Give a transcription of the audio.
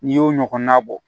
N'i y'o ɲɔgɔnna bɔ